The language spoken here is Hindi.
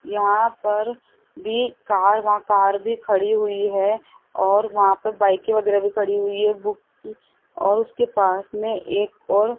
यहां पर भी कार वहां कार भी खड़ी हुई है और वहां पर बाईकें वगैरह भी खड़ी हुई है बुक और उसके पास में एक और--